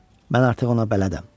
Mən artıq ona bələdəm.